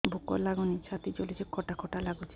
ଭୁକ ଲାଗୁନି ଛାତି ଜଳୁଛି ଖଟା ଖଟା ଲାଗୁଛି